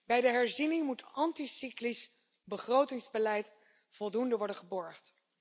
Bij de herziening moet anticyclisch begrotingsbeleid voldoende worden gewaarborgd.